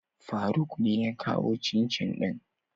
Faruk ne ya kawo cincin din.